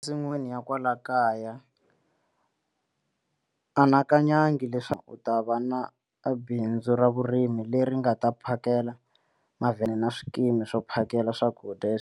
Ensin'wini ya kwala kaya anakanyangi leswaku u ta va na bindzu ra vurimi leri nga ta phakela mavhengele na swikimi swo phakela swakudya.